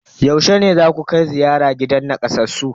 Yaushe ne zaku kai ziyara gidan nakasassun?